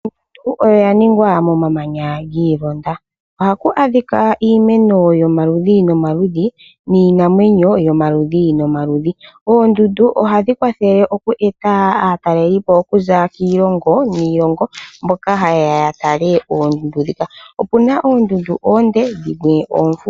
Oondundu odha ningwa momamanya gi ilonda. Ohaku adhika iimeno yomaludhi nomaludhi niinamwenyo yomaludhi nomaludhi. Oondundu ohadhi kwathele oku eta aatalelipo okuza kiilongo niilongo mboka ha yeya ya tale oondundu ndhika. Opuna oondundu oonde dhimwe oofupi.